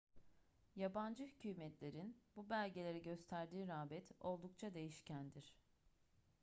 yabancı hükümetlerin bu belgelere gösterdiği rağbet oldukça değişkendir